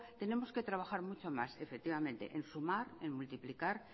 tenemos que trabajar muchos más efectivamente en sumar en multiplicar